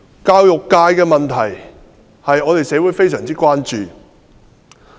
教育界的問題社會非常關注。